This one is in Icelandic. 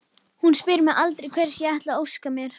Hún spyr mig aldrei hvers ég ætli að óska mér.